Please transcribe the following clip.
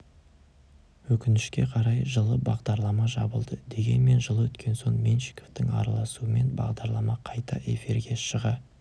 өкінішке қарай жылы бағдарлама жабылды дегенмен жыл өткен соң меньшиковтың араласуымен бағдарлама қайта эфирге шыға